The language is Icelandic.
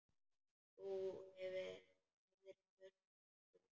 Þú hefðir spurt og spurt.